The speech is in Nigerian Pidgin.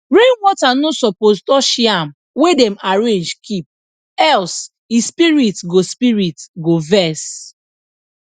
rainwater no suppose touch yam wey dem arrange keep else e spirit go spirit go vex